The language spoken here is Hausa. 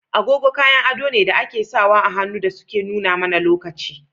Agogo kayan ado ne da ake *sawa ahannu dasuke nuna mana lokaci.